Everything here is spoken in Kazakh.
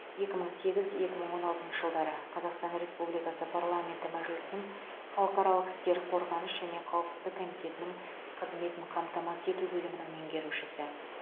екі мың сегіз екі мың он алтыншы жылдары қазақстан республикасы парламенті мәжілісінің халықаралық істер қорғаныс және қауіпсіздік комитетінің қызметін қамтамасыз ету бөлімінің меңерушісі